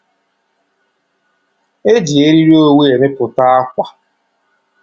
E ji eriri owu emepụta ákwà